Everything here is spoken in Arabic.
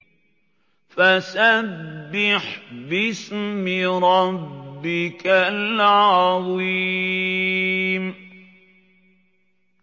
فَسَبِّحْ بِاسْمِ رَبِّكَ الْعَظِيمِ